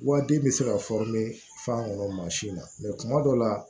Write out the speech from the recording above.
Wa den bɛ se ka fa nɔnɔ mansin na kuma dɔw la